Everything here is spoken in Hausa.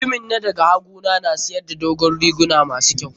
Mutanmin na da ga hagu na siyar da dogon riguna ma su kyau.